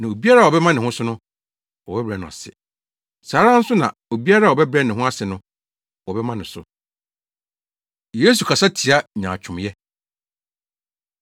Na obiara a ɔbɛma ne ho so no, wɔbɛbrɛ no ase; saa ara nso na obiara a ɔbɛbrɛ ne ho ase no, wɔbɛma no so. Yesu Kasa Tia Nyaatwomyɛ